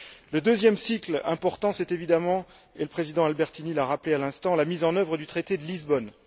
Le deuxième cycle important c'est évidemment, et le président Albertini l'a rappelé à l'instant, la mise en œuvre du traité de Lisbonne.